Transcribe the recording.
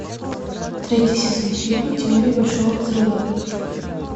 третий сезон фильма теория большого взрыва